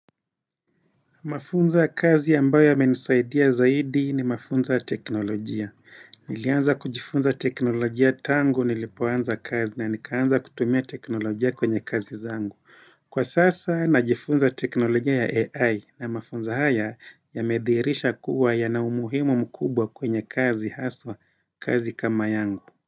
Mafunzo ya kazi ambayo ya yamenisaidia zaidi ni mafunzo ya teknolojia. Nilianza kujifunza teknolojia tangu nilipoanza kazi na nikaanza kutumia teknolojia kwenye kazi zangu. Kwa sasa najifunza teknolojia ya AI na mafunzo haya ya medhirisha kuwa ya na umuhimu mkubwa kwenye kazi haswa kazi kama yangu.